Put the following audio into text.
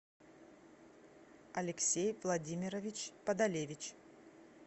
алексей владимирович подолевич